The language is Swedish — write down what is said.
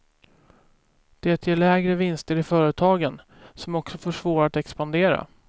Det ger lägre vinster i företagen, som också får svårare att expandera.